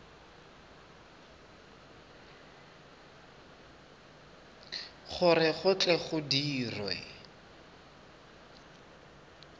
gore go tle go dirwe